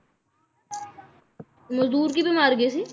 ਮਜਦੂਰ ਕਿਵੇਂ ਮਰਗੇ ਸੀ?